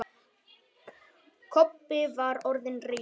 Kobbi var orðinn reiður.